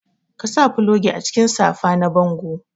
Ka sa fulogi a cikin safa na bango.